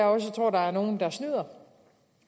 også tror at der er nogle der snyder